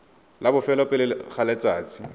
la bofelo pele ga letsatsi